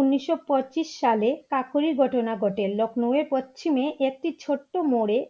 উনিশশো পঁচিশ সালে কাকোরি ঘটনা ঘটে Lucknow এর পশ্চিমে একটি ছোট্ট মোডে